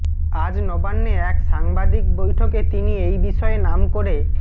আজ নবান্নে এক সাংবাদিক বৈঠকে তিনি এই বিষয়ে নাম করে